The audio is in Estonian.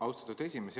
Austatud esimees!